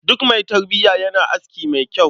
Duk mai tarbiya yana aski mai kyau.